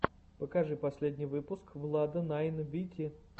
покажи последний выпуск влада найн вити